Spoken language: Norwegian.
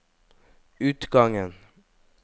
utgangen